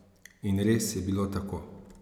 In res je bilo tako.